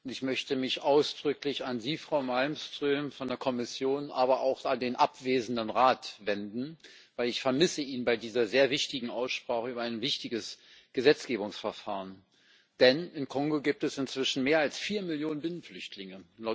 Ich möchte mich ausdrücklich an Sie, Frau Malmström von der Kommission, aber auch an den abwesenden Rat wenden, weil ich ihn bei dieser sehr wichtigen Aussprache über ein wichtiges Gesetzgebungsverfahren vermisse Im Kongo gibt es inzwischen mehr als vier Millionen Binnenflüchtlinge.